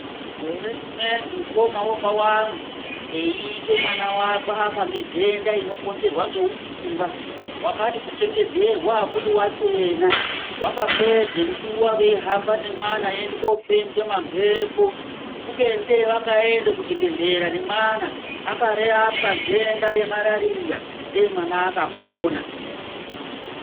Gore rimweni mukoma wababa angu, eiike mwana wake afa ngendhenda inokonzerwa ngeutunga, vakati kuchengedzerwa akudi wachena. Vakapedze nguwa veihamba nemwana eiende koofembwe mamphepo. Kubeni dai vakaenda kuchibhedhlera nemwana, akarapwa ndhenda yemalaria, dayi mwana akapona.